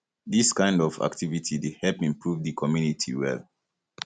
dis kind of activity dey help improve di community well